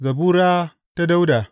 Zabura ta Dawuda.